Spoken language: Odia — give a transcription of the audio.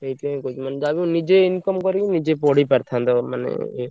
ସେଇଥିପାଇଁ କହୁଛି ମାନେ ଯାହାବି ହଉ ନିଜେ income କରିବ ନିଜେ ପଢିପାରିଥାନ୍ତ ମାନେ ଇଏ।